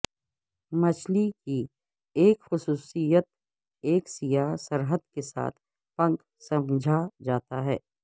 مچھلی کی ایک خصوصیت ایک سیاہ سرحد کے ساتھ پنکھ سمجھا جاتا ہے